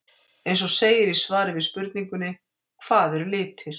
Eins og segir í svari við spurningunni Hvað eru litir?